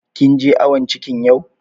Kin je awon cikin yau?